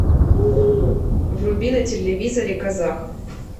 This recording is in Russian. вруби на телевизоре казах